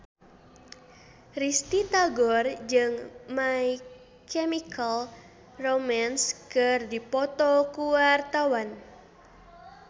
Risty Tagor jeung My Chemical Romance keur dipoto ku wartawan